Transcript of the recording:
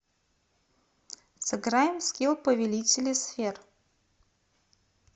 сыграем в скил повелители сфер